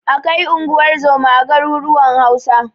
Akwai unguwar zoma a garuruwan Hausa.